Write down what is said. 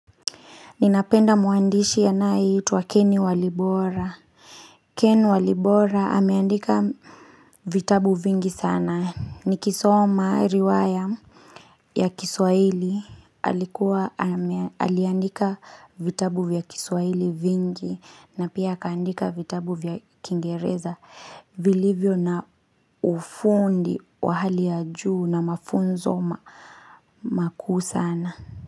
Ninapenda mwandishi anayeitwa Ken Walibora. Keni Walibora ameandika vitabu vingi sana. Nikisoma riwaya ya kiswahili. Aliandika vitabu vya kiswaili vingi. Na pia akaandika vitabu vya kiingereza. Vilivyo na ufundi wa hali ya juu na mafunzo makuu sana.